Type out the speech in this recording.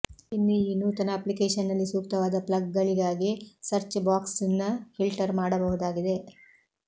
ಇನ್ನು ಈ ನೂತನ ಅಪ್ಲಿಕೇಶನ್ನಲ್ಲಿ ಸೂಕ್ತವಾದ ಪ್ಲಗ್ಗಳಿಗಾಗಿ ಸರ್ಚ್ ಬಾಕ್ಸ್ನ್ನು ಫಿಲ್ಟರ್ ಮಾಡಬಹುದಾಗಿದೆ